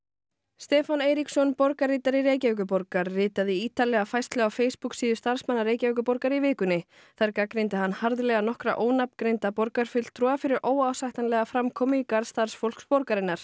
Stefán Eiríksson borgarritari Reykjavíkurborgar ritaði ítarlega færslu á Facebook síðu starfsmanna Reykjavíkurborgar í vikunni þar gagnrýndi hann harðlega nokkra ónafngreinda borgarfulltrúa fyrir óásættanlega framkomu í garð starfsfólks borgarinnar